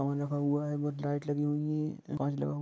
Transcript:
और सफा रखा है बहुत सारी लाइट लगी हुई है।